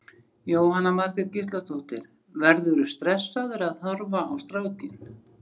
Jóhanna Margrét Gísladóttir: Verðurðu stressaður að horfa á strákinn?